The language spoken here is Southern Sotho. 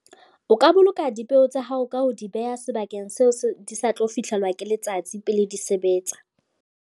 O ka boloka dipeo tsa hao ka ho di behe sebakeng seo se di sa tlo fihlelwa ke letsatsi pele di sebetsa.